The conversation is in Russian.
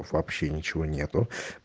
вообще ничего нету